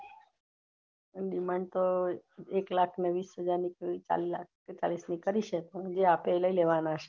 demand તો એક લાખને વીસ હજાર કરી છે પણ જે આપે એ લઇ લેવાના